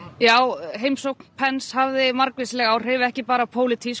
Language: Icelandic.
já heimsóknin hafði margvísleg áhrif ekki bara pólitísk